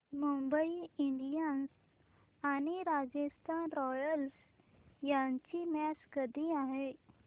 Mumbai Indians आणि Royals match यांची मॅच कधी आहे